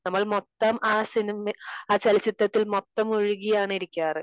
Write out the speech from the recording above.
നമ്മൾ മൊത്തം ആ സിനിമ, ആ ചലച്ചിത്രത്തിൽ മൊത്തം മുഴുകിയാണ് ഇരിക്കാറ്.